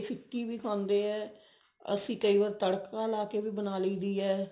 ਫਿੱਕੀ ਵੀ ਖਾਂਦੇ ਆ ਅਸੀਂ ਕਈ ਵਾਰ ਤੜਕਾ ਲਾ ਕੇ ਵੀ ਬਣਾ ਲਈ ਦੀ ਹੈ